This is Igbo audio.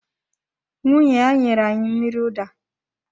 Nwunye ya nyere anyị mmiri ụda